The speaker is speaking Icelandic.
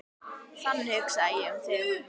Þannig hugsaði ég um þig.